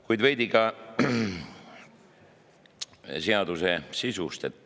Kuid veidi ka seaduse sisust.